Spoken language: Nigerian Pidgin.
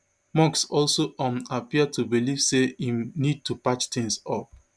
musk also um appear to believe say im need to patch tins up